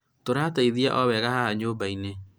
tũrateretithia o wega haha nyũmbainĩ